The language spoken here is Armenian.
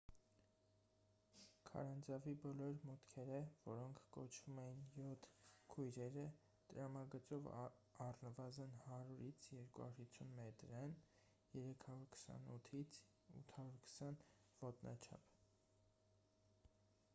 քարանձավի բոլոր մուտքերը որոնք կոչվում էին «յոթ քույրերը» տրամագծով առնվազն 100-250 մետր են 328-820 ոտնաչափ: